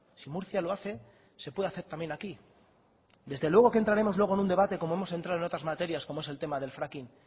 si murcia lo hace se puede hacer también aquí desde luego que entraremos luego en un debate como hemos entrado en otras materias como es el tema del fracking